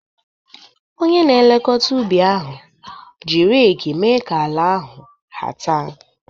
Onye na-elekọta ubi ahụ ji reeki mee ka ala ahu hata.